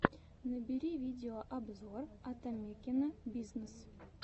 набери видеообзор атамекена бизнес